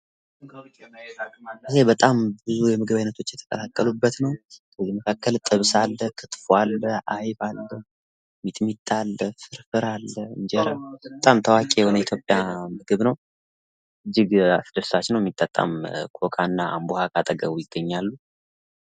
ይህ በጣም ብዙ የምግብ አይነቶች የተጠራቀሙበት ነው ፤ ከምግቡ መካከል ጥብስ አለ፣ ክትፎ አለ፣ አይብ አለ ፤ ሚጥሚጣ አለ፣ ሚጠጣም ኮካ እና አምቦ ዉሃ ካጠገቡ ይገኛሉ።